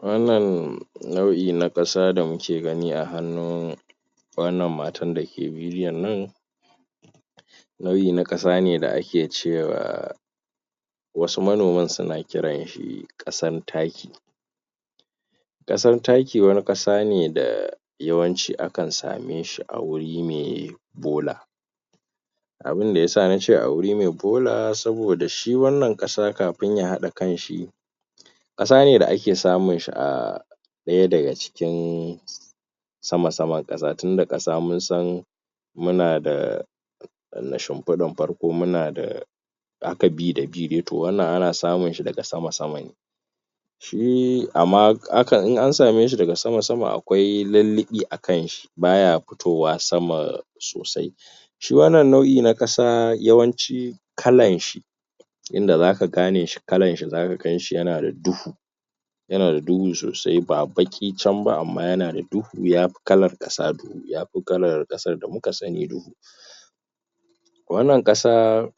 Wannan nau'i na ƙasa da muke gani a hannu wannan matan dake bidion nan nau'in na ƙasa ne da ake cewa wasu manoman suna kiranshi ƙasan taki ƙasan taki wani ƙasane da yawanci akan sameshi a wuri me bola abun da yasa nace aguri me bola saboda shi wannan ƙasa ka fin yahaɗa kanshi ƙasane da ake samunshi a ɗaya daga cikin sama saman ƙasa tunda ƙasa munsan munada shin fiɗan farko munada haka bi da bi dai to wannan ana samunshi daga sama sama ne tun ama in ansameshi daga sama sama a akwai lilliɓi akan shi baya fitowa sama sosai shi wannan nau'i na ƙasa yawanci kalanshi inda zaka gane shi kalan shi zaka ga yanada duhu yana da duhu sosai ba, ba ki can ba amma yanada du hu yafi kalal ƙasa yakala ƙasan da muka sani duhu wannan ƙasa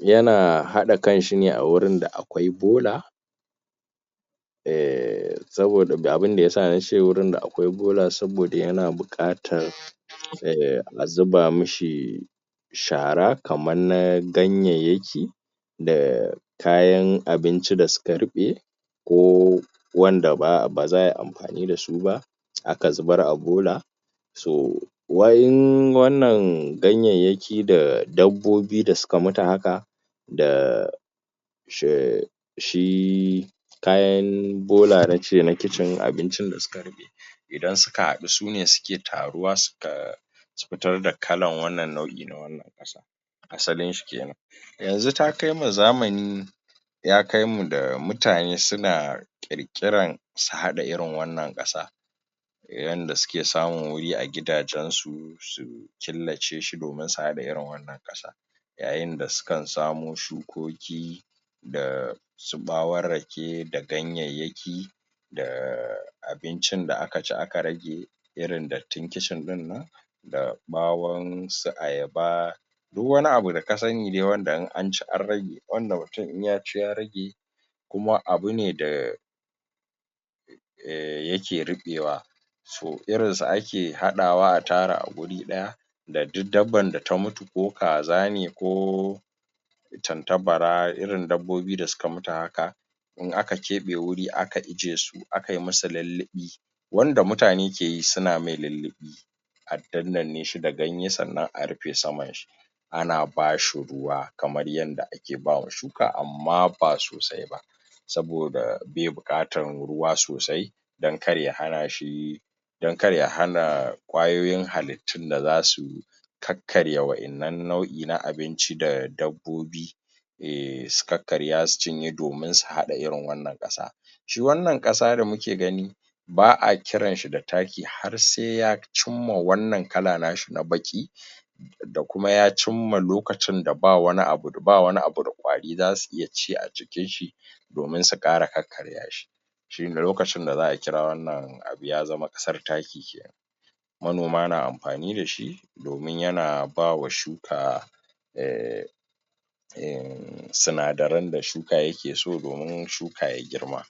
yana haɗa kanshine a gurin da akwai bola um saboda abun dayasa nace gurin da akwai bola saboda yana buƙatar eh, azuba mushi shara kama na ganyayyaki da kayan abunci da suka ruɓe ko wanda baza ai amfanida su ba aka zubar a bola so wannan ganyayyakin ki da dabbobi da suka mutu haka da: she: shi: kayan bola nace na kicin nace abunci da suka ruɓe idan suka haɗu sune suke taruwa suka fitar da kalan wannan nau'i na wannan ƙasa asalinshi kenan yanzu takaimu zamani yakaimu da mutane suna ƙirƙiran su haɗa irin wannan ƙasa yanda suke samu wuri a gida jan su su killace shi domin su haɗa irin wannan ƙasa yayin da sukan samo shukoki ga su ɓawon rake da ganyayyaki da: abincin da'aci aka rage irin dattin kicin ɗinnan da ɓawon su ayaba duk wani abu da kasani dai in anci an rage wanda mutun in yaci ya rage kuma abune da eh, yake ruɓewa so irinsu ake haɗawa a tara aguri ɗaya da duk dabban da ta mutu ko kaza ne ko tanta bara irin dabbobi da suka mutu haka in aka keɓe wuri aka iyyayesu akai musu lilliɓi wanda mutane keyi suna mai lilliɓi adandanneshi da ganye sannan a rufe saman shi ana bashi ruwa kaman yadda ake ke bawa shuka amma ba sosai ba saboda beƙatan ruwa sosai dan kar ya hanashi dan kar ya hana kwayoyin halittun da zasu kakkarya wayannan nau'i na abinci da dabbobi ke su karkarya su ciye domin su haɗa irin wannan ƙasa shi wannan ƙasa da muke gani ba'a kiranshi da taki har se ya cimma wannan kala nashi na baƙi da kuma ya cimma lokacin bawani abu da kuma kwari zasu iyaci ajikin shi domin su ƙara karkarya shi shine lokacin da za akira wannan abu yazama ƙasar taki monoma na amfani dashi domin yana bama shuka um eh, suna darin da shu ka yakeso domin shuka ya girma